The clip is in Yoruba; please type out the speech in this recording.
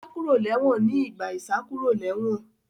Ó sá kúrò ní ẹ̀wọ̀n nígbà ìsákúròlẹ́wọ̀n